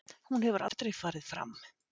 Hún hefur aldrei farið fram.